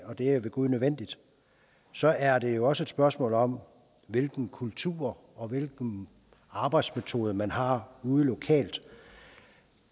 og det er ved gud nødvendigt så er det jo også et spørgsmål om hvilken kultur og hvilke arbejdsmetoder man har ude lokalt